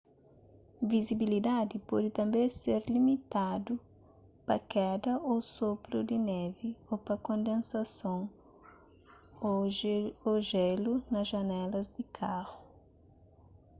vizibilidadi pode tanbê ser limitadu pa keda ô sopru di névi ô pa kondensason ô jélu na janelas di karu